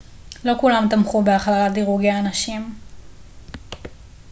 לא כולם תמכו בהכללת דירוגי הנשים